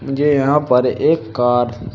मुझे यहां पर एक कार --